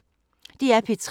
DR P3